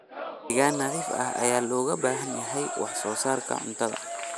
Deegaan nadiif ah ayaa looga baahan yahay wax soo saarka cuntada.